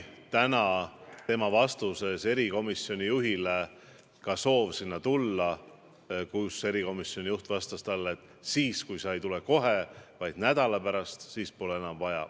Tema vastuses, mille ta andis erikomisjoni juhile, oli olemas soov ka sinna komisjoni minna, kuid erikomisjoni juht vastas talle, et kui minister ei tule kohe, vaid nädala pärast, pole seda enam vaja.